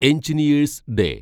engineers day